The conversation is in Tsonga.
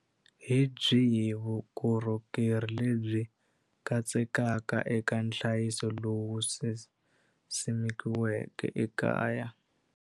Hi byihi vukorhokeri lebyi katsekaka eka nhlayiso lowu simikiweke ekaya?